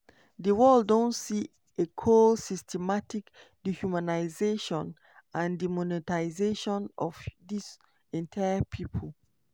di world don "see a cold systematic dehumanisation and demonisation of dis entire pipo".